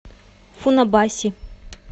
фунабаси